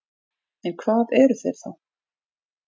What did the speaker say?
En hvað eru þeir þá?